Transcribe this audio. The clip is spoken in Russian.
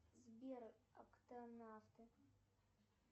сбер октонавты